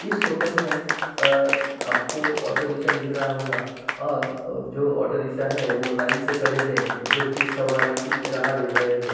इस फोटो में अ-अ आपको ऑटो रिक्शा दिख रहा होगा और अ जो ऑटो रिक्शा है वो लाइन से खड़े हैं जो की सवारी की राह देख रहे हैं।